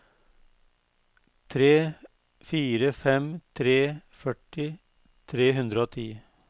tre fire fem tre førti tre hundre og ti